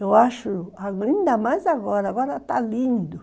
Eu acho ainda mais agora, agora está lindo.